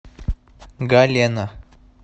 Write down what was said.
галена